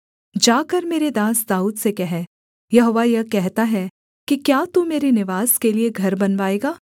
जाकर मेरे दास दाऊद से कह यहोवा यह कहता है कि क्या तू मेरे निवास के लिये घर बनवाएगा